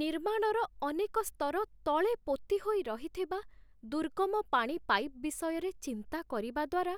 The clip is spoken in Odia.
ନିର୍ମାଣର ଅନେକ ସ୍ତର ତଳେ ପୋତି ହୋଇ ରହିଥିବା ଦୁର୍ଗମ ପାଣି ପାଇପ୍ ବିଷୟରେ ଚିନ୍ତା କରିବା ଦ୍ୱାରା,